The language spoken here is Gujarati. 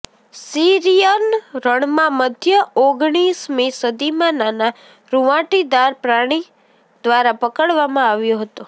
સીરિયન રણમાં મધ્ય ઓગણીસમી સદીમાં નાના રુંવાટીદાર પ્રાણી દ્વારા પકડવામાં આવ્યો હતો